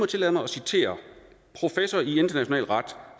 tillade mig at citere professor i international ret